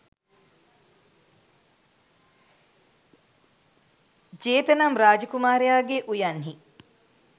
ජේත නම් රාජ කුමාරයාගේ උයන්හි